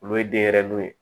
Olu ye denyɛrɛninw ye